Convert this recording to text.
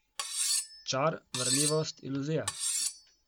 Čar, varljivost, iluzija.